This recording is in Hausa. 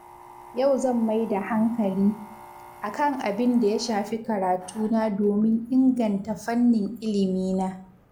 Yau zan maida hankali, akan abinda ya shafi karatu na domin inganta fannin ilimi na.